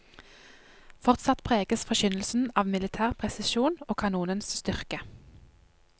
Fortsatt preges forkynnelsen av militær presisjon og kanonens styrke.